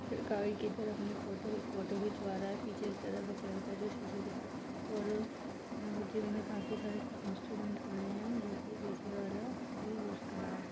फिर गाड़ी कि तरह अपनी फ़ोटो फ़ोटो खिचवा रहा है पीछे की तरफ एक लड़का जो शीशे की तरफ और जिम में काफी सारे सा इंस्ट्रूमेंट पड़े हैं जो कि पीछे वाला भी यूज़ कर रहा है।